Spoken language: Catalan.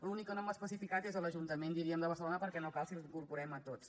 l’únic que no hem especificat és l’ajuntament diríem de barcelona perquè no cal si els incorporem a tots